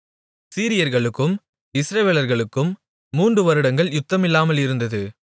சீரியர்களுக்கும் இஸ்ரவேலர்களுக்கும் மூன்று வருடங்கள் யுத்தமில்லாமல் இருந்தது